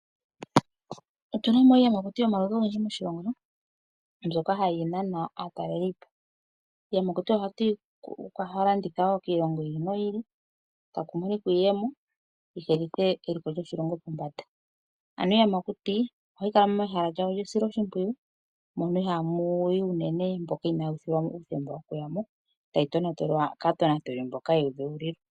Otu na mo iiyamakuti yomaludhi ogendji moshilongo mbyoka hayi nana aatalelipo. Iiyamakuti ohatu yi landitha kiilongo yi ili noyi ili opotu mone iiyemo yihumithe eliko lyoshilongo pombanda, ano iiyamakuti ohayi kala mehala lyawo lyesilo shimpiyu mono iha muyi unene mboka inaya uthilwamo uuthemba okuya mo nohayi kala tayi tonatelwa kaatonateli mboka yeyi dheulilwa.